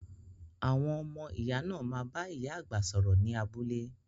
Àwọn ọmọ iya náà má bá ìyá àgbà sọ̀rọ̀ ni abúlé